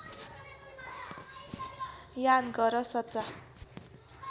याद गर सच्चा